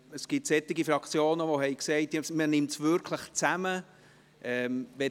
Es gibt Fraktionen, die sagen, dass sie es wirklich zusammennehmen.